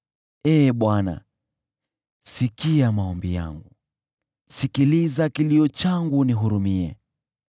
Ee Bwana , sikia maombi yangu, sikiliza kilio changu unihurumie.